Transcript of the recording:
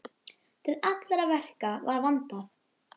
Til allra verka var vandað.